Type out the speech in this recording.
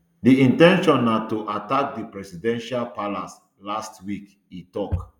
di in ten tion na to attack di presidential palace last week e tok